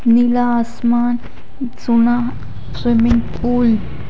नीला आसमान सुना swimming pool --